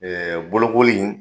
Ɛɛ bolokolii